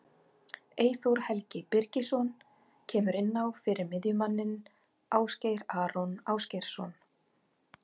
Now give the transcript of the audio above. Eyþór Helgi Birgisson kemur inn á fyrir miðjumanninn Ásgeir Aron Ásgeirsson.